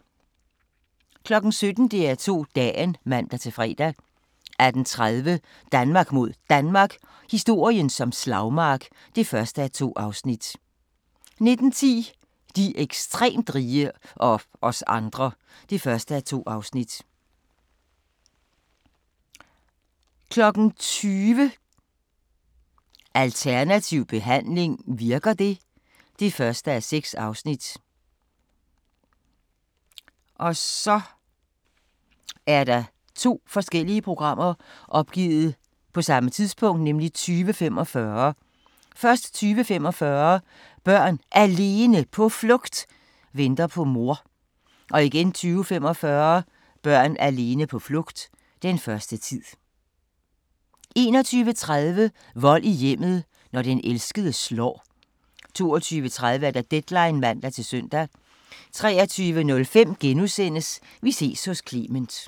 17:00: DR2 Dagen (man-fre) 18:30: Danmark mod Danmark – historien som slagmark (1:2) 19:10: De ekstremt rige – og os andre (1:2) 20:00: Alternativ behandling – virker det? 20:00: Alternativ behandling - virker det? (1:6) 20:45: Børn Alene på Flugt: Venter på mor 20:45: Børn alene på flugt – Den første tid 21:30: Vold i hjemmet – når den elskede slår 22:30: Deadline (man-søn) 23:05: Vi ses hos Clement *